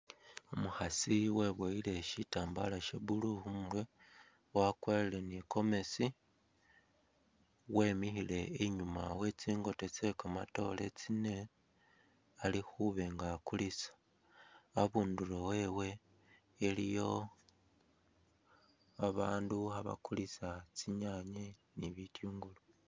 Umukhasi webuyile shitambala Sha blue khumurwe, wakwarire ni gomesi wemikhile inyuma we tsingota tse kamatoore tsine alikhuba nga akulisa, abundulo wewe iliyo ba bandu kha bakulisa tsinyanye ni bitungulu.